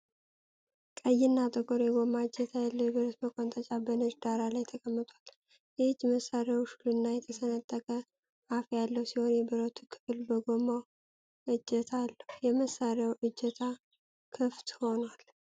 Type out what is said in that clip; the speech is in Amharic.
ቀይና ጥቁር የጎማ እጀታ ያለው የብረት መቆንጠጫ በነጭ ዳራ ላይ ተቀምጧል። የእጅ መሳሪያው ሹልና የተሰነጠቀ አፍ ያለው ሲሆን፣ የብረቱ ክፍል ከጎማው እጀታ አለው። የመሳሪያው እጀታ ክፍት ሆኗል።